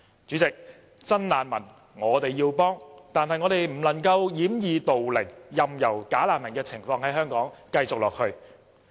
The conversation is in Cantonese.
主席，我們要幫助真難民，但我們不能掩耳盜鈴，任由"假難民"的情況在香港繼續下去。